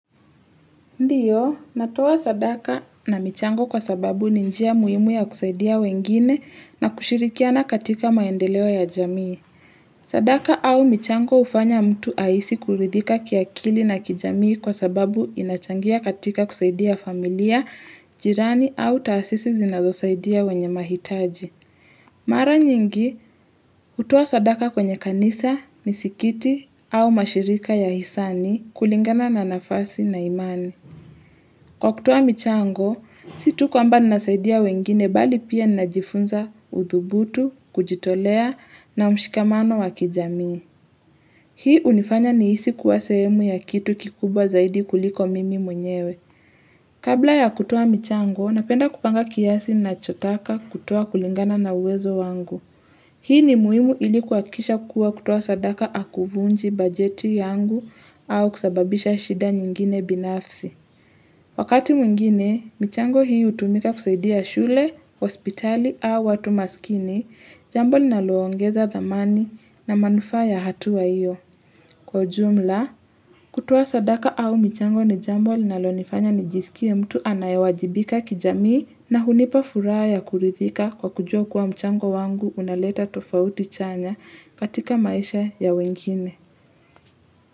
Ndiyo, natuwa sadaka na michango kwa sababu ninjia muhimu ya kusaidia wengine na kushirikiana katika maendelewa ya jamii. Sadaka au michango ufanya mtu aisi kuridhika kiakili na kijamii kwa sababu inachangia katika kusaidia familia, jirani au taasisi zinazosaidia wenye mahitaji. Mara nyingi, utuwa sadaka kwenye kanisa, misikiti au mashirika ya hisani kulingana na nafasi na imani. Kwa kutuwa michango, situ kwa mba nasaidia wengine bali pia najifunza udhubutu, kujitolea na mshikamano wakijamii. Hii unifanya niisi kuwasemu ya kitu kikubwa zaidi kuliko mimi mwenyewe. Kabla ya kutuwa michango, napenda kupanga kiasi na chotaka kutuwa kulingana na uwezo wangu. Hii ni muhimu ilikuakisha kuwa kutuwa sadaka akuvunji bajeti yangu au kusababisha shida nyingine binafsi. Wakati mwingine, michango hii utumika kusaidia shule, hospitali au watu masikini, jambo li naloongeza the money na manufa ya hatua iyo. Kwa jumla, kutoa sadaka au michango ni jambo li nalo nifanya nijisikia mtu anayawajibika kijamii na hunipa furaa ya kuridhika kwa kujua kuwa mchango wangu unaleta tofauti chanya patika maisha ya wengine.